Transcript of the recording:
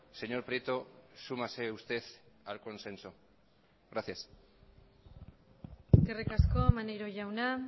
señor prieto súmase usted al consenso gracias eskerrik asko maneiro jauna